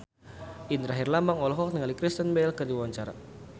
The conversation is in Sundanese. Indra Herlambang olohok ningali Kristen Bell keur diwawancara